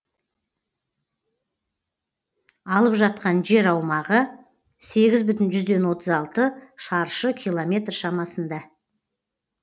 алып жатқан жер аумағы сегіз бүтін жүзден отыз алты шаршы километр шамасында